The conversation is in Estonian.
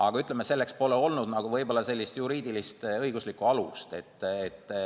Aga selleks pole olnud, ütleme, juriidilist, õiguslikku alust.